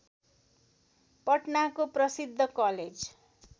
पटनाको प्रसिद्ध कलेज